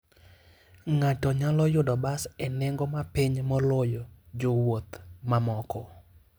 Ng'ato nyalo yudo bas e nengo ma piny moloyo jowuoth mamoko.